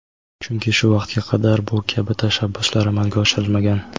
Chunki shu vaqtga qadar bu kabi tashabbuslar amalga oshirilmagan.